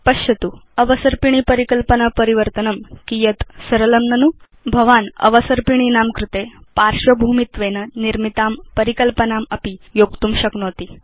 पश्यतु अवसर्पिणी परिकल्पना परिवर्तनं कियत् सरलं ननु भवान् भवत् अवसर्पिणीनां कृते पार्श्वभूमित्वेन निर्मितां परिकल्पनामपि योक्तुं शक्नोति